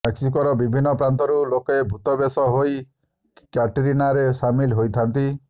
ମେକ୍ସିକୋର ବିଭିନ୍ନ ପ୍ରାନ୍ତରୁ ଲୋକେ ଭୂତ ବେଶ ହୋଇ କ୍ୟାଟରିନାରେ ସାମିଲ ହୋଇଥାନ୍ତି